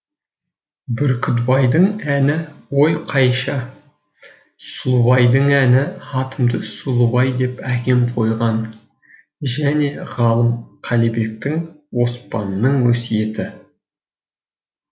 бүркітбайдың әні ой қайша сұлубайдың әні атымды сұлубай деп әкем қойған және ғалым қалибектің оспанның өсиеті